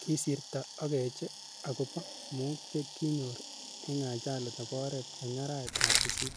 Kisirto Okeche ako po mook che ki nyor ing ajali nebo oret eng araet ap sisit